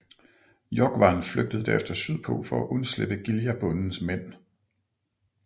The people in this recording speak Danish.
Jógvan flygtede derefter sydpå for at undslippe Giljabondens mænd